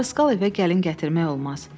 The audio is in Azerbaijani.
Dariskal evə gəlin gətirmək olmaz.